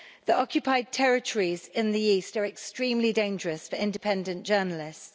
The occupied territories in the east are extremely dangerous for independent journalists.